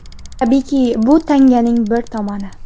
Tabiiyki, bu tanganing bir tomoni.